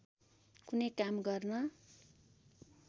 कुनै काम गर्न